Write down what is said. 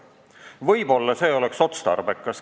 Võib-olla oleks see otstarbekas.